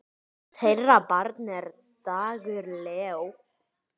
Þeirra barn er Dagur Leó.